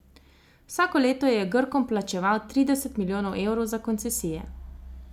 Vsako leto je Grkom plačeval trideset milijonov evrov za koncesije.